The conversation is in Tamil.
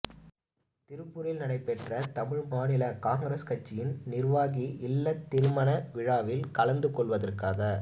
திருப்பூரில் நடைபெற்ற தமிழ் மாநில காங்கிரஸ் கட்சியின் நிர்வாகி இல்லத் திருமண விழாவில் கலந்துகொள்வதற்காக